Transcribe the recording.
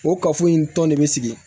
O kafo in tɔn ne bɛ sigi